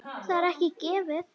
Það er ekki gefið.